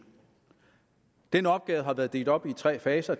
den opgave har været delt op i tre faser